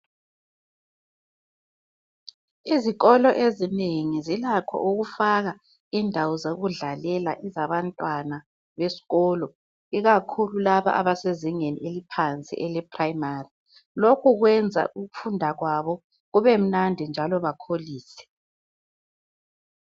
Izikolo ezinengi zilakho ukufaka indawo zokudlalela zabantwana beskolo ikakhulu laba abasezingeni eliphansi eleprimary, lokhu kwenza ukufunda kwabo kube mnandi njalo bakholise.